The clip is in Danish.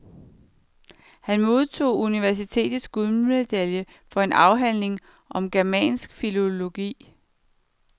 Han modtog universitetets guldmedalje for en afhandling om germansk filologi.